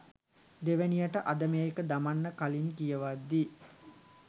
දෙවනියට අද මේක දමන්න කලින් කියවද්දි